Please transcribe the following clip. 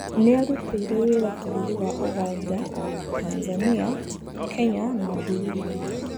Nĩarutĩire wĩra bũrũri wa ũganda, Tanzania, Kenya na Burudi.